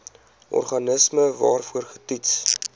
organisme waarvoor getoets